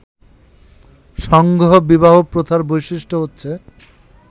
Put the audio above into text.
সংঘ-বিবাহ প্রথার বৈশিষ্ট্য হচ্ছে